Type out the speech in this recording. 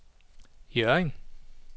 Hjørring